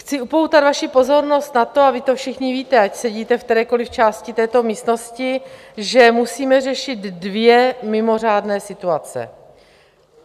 Chci upoutat vaši pozornost na to, a vy to všichni víte, ať sedíte v kterékoliv části této místnosti, že musíme řešit dvě mimořádné situace.